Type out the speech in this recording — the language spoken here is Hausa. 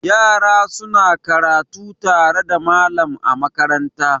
Yara suna karatu tare da malam a makaranta.